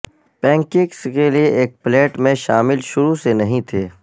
pancakes کے لئے ایک پلیٹ میں شامل شروع سے نہیں تھے